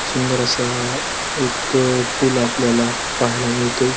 सुंदर अस एक पूल आपल्याला पाहायला मिळतोय.